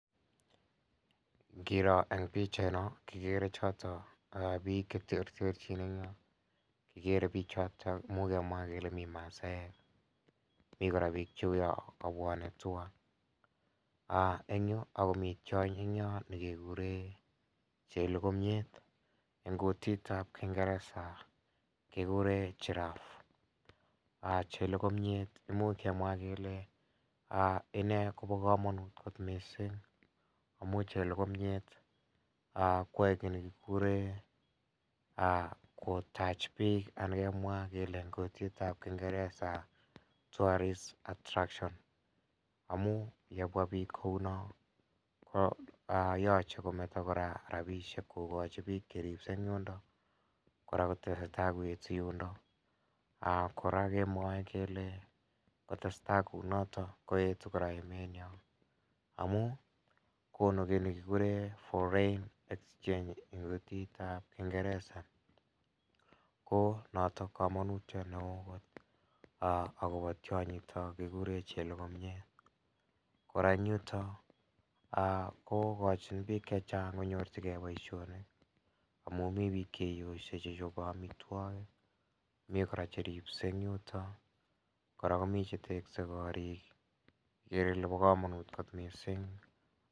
Ingiro en pichait noon kekere choton bik cheterteren en bichoton imuch kemwa kele mi maasaek mi kora Ako mi tiony nekekuren en kutitab kingereza kingereza Giraffe imuch amwa kele inee koba kamanut missing amuun yae kotach bik kemwae en kutitab kingereza tourist attractions amuun yebwa bik kounon yoche kometo rabisiek en bik cheripse en yuton. Kele kotesetai kou naton koetu amuun konu kit nekikuren foreign exchange akobo tianyiton kikuren chelokomiat en yuton kokochi bik chechang konyor boisionikkora komi cheteche korik ikere Ile bo kamanut boision